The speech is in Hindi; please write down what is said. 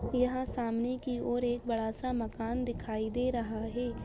यहाँ सामने की ओर एक बड़ा सा मकान दिखाई दे रहा है।